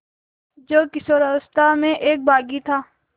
जो किशोरावस्था में एक बाग़ी था